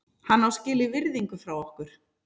Hann á skilið virðingu frá okkur.